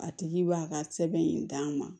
A tigi b'a ka sɛbɛn in d'a ma